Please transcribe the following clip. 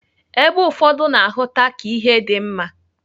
Ebe ụfọdụ na-ahụta ka ihe dị mma.